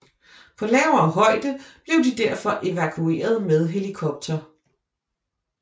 På lavere højde blev de derfor evakueret med helikopter